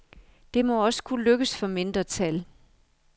Det må også kunne lykkes for mindretal.